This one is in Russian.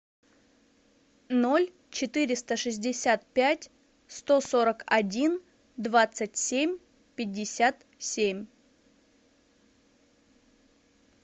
ноль четыреста шестьдесят пять сто сорок один двадцать семь пятьдесят семь